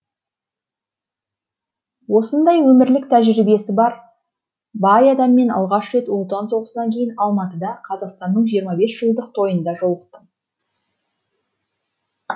осындай өмірлік тәжірибесі бай адаммен алғаш рет ұлы отан соғысынан кейін алматыда қазақстанның жиырма бес жылдық тойында жолықтым